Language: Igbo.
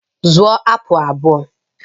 Zụrụ apụl abụọ!